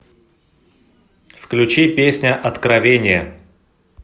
включи песня откровение